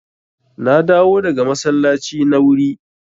Na dawo daga masallaci na wuri.